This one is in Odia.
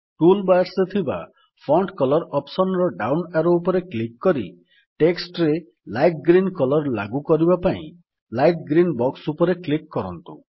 ଟୁଲ୍ ବାର୍ ରେ ଥିବା ଫଣ୍ଟ କଲର ଅପ୍ସନ୍ ର ଡାଉନ୍ ଆରୋ ଉପରେ କ୍ଲିକ୍ କରି ଟେକ୍ସଟ୍ ରେ ଲାଇଟ୍ ଗ୍ରୀନ୍ କଲର୍ ଲାଗୁ କରିବା ପାଇଁ ଲାଇଟ୍ ଗ୍ରୀନ୍ ବକ୍ସ ଉପରେ କ୍ଲିକ୍ କରନ୍ତୁ